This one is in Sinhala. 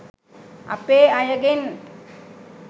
අපේ අයගෙන්.